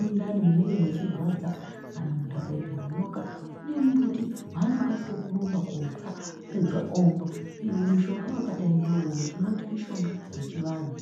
mundani munenge mechirwadza kana munthu akaite manyoka kune mumbuti waanokasike kurumba kootsa apedza omwa. Mushonga wakadai ngeuwowo tinouti mushonga wechivanhu.